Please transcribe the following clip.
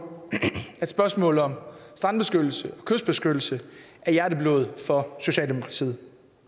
at spørgsmålet om strandbeskyttelse kystbeskyttelse er hjerteblod for socialdemokratiet